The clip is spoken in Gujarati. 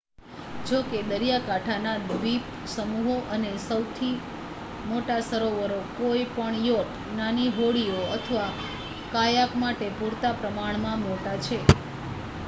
જોકે દરિયાકાંઠાના દ્વીપસમૂહો અને સૌથી મોટા સરોવરો કોઈ પણ યોટ નાની હોડીઓ અથવા કાયાક માટે પૂરતા પ્રમાણમાં મોટા છે